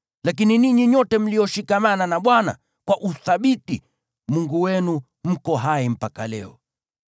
lakini ninyi nyote mlioshikamana na Bwana kwa uthabiti, Mungu wenu, mko hai mpaka leo.